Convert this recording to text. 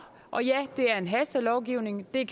og ja det er en hastelovgivning det